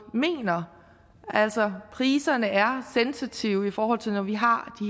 mener altså at priserne er sensitive i forhold til at vi har